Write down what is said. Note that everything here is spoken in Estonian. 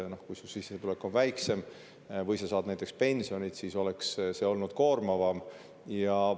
Kui su sissetulek on väiksem või sa saad näiteks pensioni, siis selline oleks olnud koormavam.